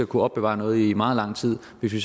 kunne opbevare noget i meget lang tid hvis vi